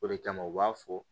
O de kama u b'a fɔ